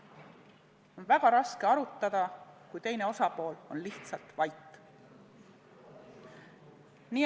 On väga raske arutada, kui teine osapool on lihtsalt vait.